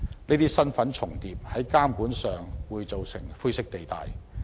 這些身份重疊的情況，在監管上便會造成灰色地帶。